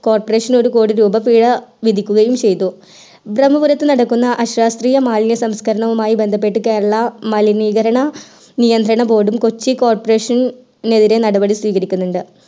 coperation നു ഒരു കോടി രൂപ പിഴ വിധിക്കുകയും ചെയ്തു ബ്രഹ്മപുരത് നടക്കുന്ന അശാസ്ത്രീയ മാലിന്യ സംസ്കരണമായി ബന്ധപെട്ടു കേരളം മലിനീകരണ നിയന്ത്രിത board കൊച്ചി corporation എതിരെ നടപടി സ്വീകരിക്കുന്നുണ്ട്